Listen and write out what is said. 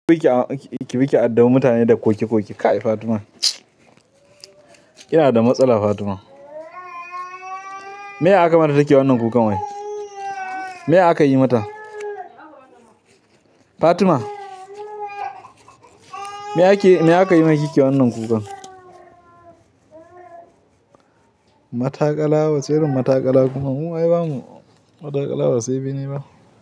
Ki bi ki, ki bi ki addabi da mutane da koke koke, Kai Fatima. Kina da matsala Fatima. Me aka mata take wannan kukan wai? Me aka yi mata? Fatima? Me ake, me aka yi ma ki kike wannan kukan? Matakala wacce irin matakala kuma mu ai bamu. Matakala ba sai bene ba.